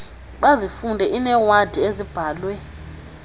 bazifunde iinewadi ezibhalwe